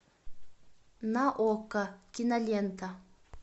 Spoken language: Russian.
на окко кинолента